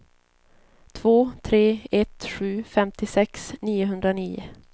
två tre ett sju femtiosex niohundranio